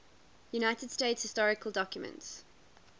united states historical documents